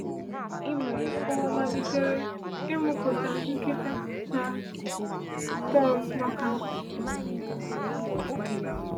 Ụwa malitere ịmụpụta nkịta na thorns maka ha.